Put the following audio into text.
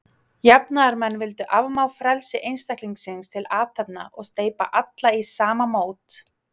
Jafnaðarmenn vildu afmá frelsi einstaklingsins til athafna, og steypa alla í sama mót.